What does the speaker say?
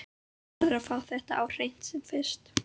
Hún verður að fá þetta á hreint sem fyrst.